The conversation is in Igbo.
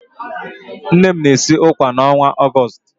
Nne m na-esi ụkwà n'ọnwa Ọgọọst.